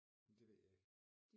Det ved jeg ikke